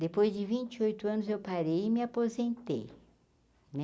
Depois de vinte e oito anos eu parei e me aposentei né.